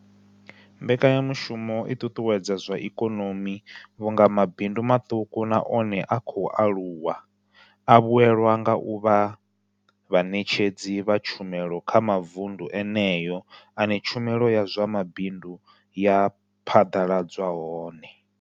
Mbekanya mushumo i ṱuṱuwedza zwa ikonomi vhunga mabindu maṱuku na one a khou aluwa a vhuelwa nga u vha vhaṋetshedzi vha tshumelo kha mavundu eneyo ane tshumelo ya zwa mabindu ya phaḓaladzwa hone.